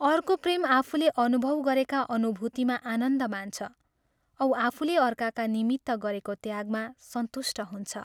अर्को प्रेम आफूले अनुभव गरेका अनुभूतिमा आनन्द मान्छ औ आफूले अर्काका निमित्त गरेको त्यागमा सन्तुष्ट हुन्छ।